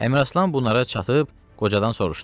Əmiraslan bunlara çatıb qocadan soruşdu.